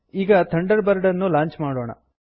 ಈಗ Thunderbird ಅನ್ನು launch ಮಾಡೋಣ